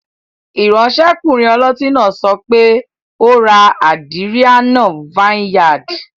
Iransekunrin oloti naa sope, "o ra Adrianna vineyard"